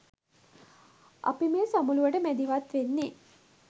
අපි මේ සමුළුවට මැදිහත් වෙන්නේ